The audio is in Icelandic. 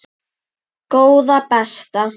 Góða besta!